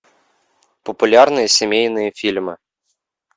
популярные семейные фильмы